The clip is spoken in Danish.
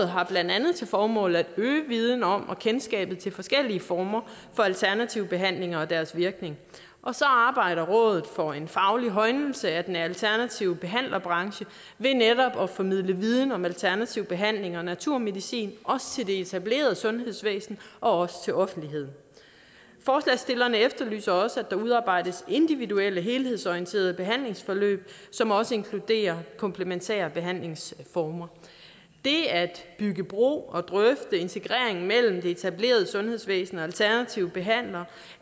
har blandt andet til formål at øge viden om og kendskabet til forskellige former for alternative behandlinger og deres virkning og så arbejder rådet for en faglig højnelse af den alternative behandlerbranche ved netop at formidle viden om alternativ behandling og naturmedicin også til det etablerede sundhedsvæsen og også til offentligheden forslagsstillerne efterlyser også at der udarbejdes individuelle og helhedsorienterede behandlingsforløb som også inkluderer komplementære behandlingsformer det at bygge bro og drøfte integreringen mellem det etablerede sundhedsvæsen og alternative behandlere